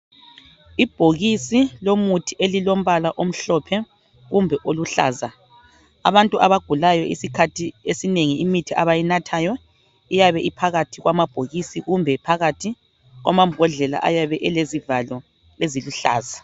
Ibhokisi lomuthi elilombala omhlophe kumbe oluhlaza abantu abagulayo isikhathi esinengi imithi abayinathayo iyabe iphakathi kwamabhokisi kumbe iphakathi kwamambodlela ayabe elezivalo eziluhlaza.